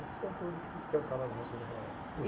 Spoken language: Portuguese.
Esses cantores que cantavam as músicas daquela época. E